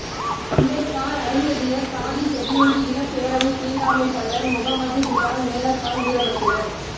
அம்பேத்கர் அருந்ததியர் சாதி செட்யூல்டு இனப் பேரவை தீண்டாமை பள்ளர் முகம்மது பிலால் மேலக்கால் வீரபத்திரன்